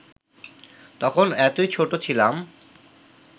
তখন এতই ছোট ছিলাম